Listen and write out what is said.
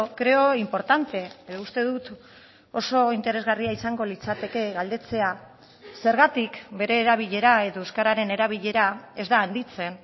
creo importante uste dut oso interesgarria izango litzateke galdetzea zergatik bere erabilera edo euskararen erabilera ez da handitzen